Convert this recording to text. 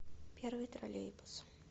первый троллейбус